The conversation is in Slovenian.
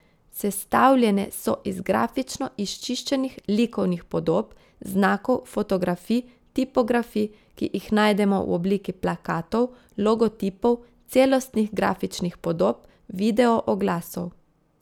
Sestavljene so iz grafično izčiščenih likovnih podob, znakov, fotografij, tipografij, ki jih najdemo v obliki plakatov, logotipov, celostnih grafičnih podob, videooglasov.